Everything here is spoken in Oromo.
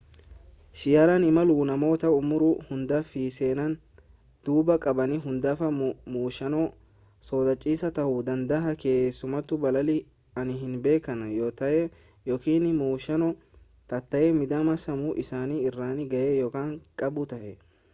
xiyyaaraan imaluun namoota umurii hundaa fi seenaa duubaa qaban hundaaf muuxannoo sodaachisaa ta'uu danda'a keessumattuu balali'anii hin beekan yoo ta'e yookin muuxannoo taatee miidhama sammuu isaan irraan ga'e yoo qabu ta'e